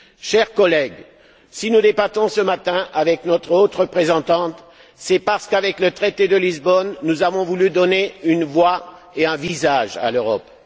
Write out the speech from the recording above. Chers collègues, si nous débattons ce matin avec notre haute représentante, c'est parce qu'avec le traité de Lisbonne, nous avons voulu donner une voix et un visage à l'Europe.